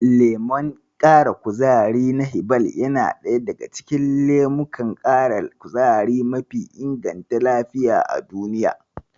Lemon ƙara kuzari na Hiball yana ɗaya daga cikin lemukan ƙara kuzari mafi inganta lafiya a duniya.